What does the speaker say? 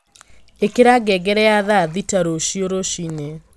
ĩkira ngngere ya thaa thita rũcio rũciini